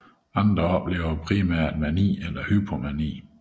Andre oplever primært mani eller hypomani